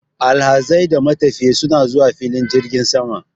Alhazai da matafiya suna zuwa filin jirgin sama.